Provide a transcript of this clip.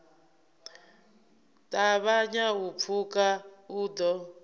ṱavhanya u pfuka u ḓo